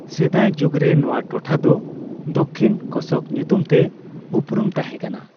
ᱥᱮᱫᱟᱭ ᱡᱩᱜᱽᱨᱮ ᱱᱚᱣᱟ ᱴᱚᱴᱷᱟ ᱫᱚ ᱫᱚᱠᱠᱷᱤᱱ ᱠᱳᱥᱚᱠ ᱧᱩᱛᱩᱢ ᱛᱮ ᱩᱯᱨᱩᱢ ᱛᱟᱦᱮᱸ ᱠᱟᱱᱟ ᱾